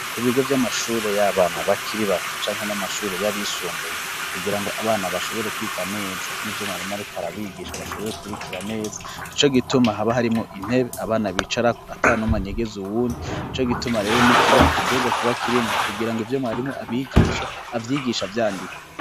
Ku bigo vy'amashure y'abana bakiri bato canke n'amashuri y'abisumbuye, kugira ngo abana bashobore kwiga neza nk'ivyo mwarimu arikar' abigisha bashobore kubrikira neza nico gituma haba harimwo intebe abana bicarako atanumw' anyegez' uwundi, nico gituma rero n'ikibaho gitegerezwa kuba kirimwo kugira ng'ivyo mwarimu abigisha avyigisha vyandika